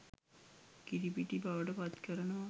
කිරිපිටි බවට පත්කරනවා.